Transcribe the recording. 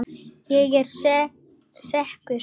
Ég er sekur.